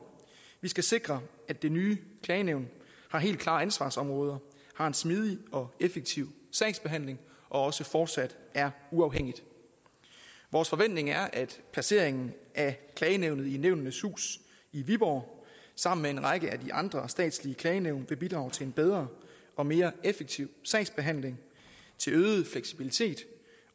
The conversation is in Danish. vi skal sikre at det nye klagenævn har helt klare ansvarsområder har en smidig og effektiv sagsbehandling og også fortsat er uafhængigt vores forventning er at placeringen af klagenævnet i nævnenes hus i viborg sammen med en række af de andre statslige klagenævn vil bidrage til en bedre og mere effektiv sagsbehandling til øget fleksibilitet